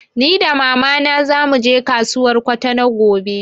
Ni da mama na zamu je kasuwar Kwatano gobe